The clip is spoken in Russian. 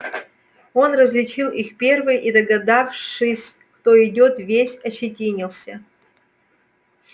он различил их первый и догадавшись кто идёт весь ощетинился